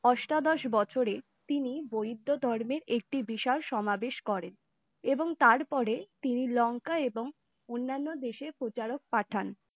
অষ্টাদশ বছরে তিনি বৌধো ধর্মে একটি বিশাল সমাবেশ করে এবং তার পরে তিনি লঙ্কা এবং অন্যান্য দেশের প্রচারক পাঠান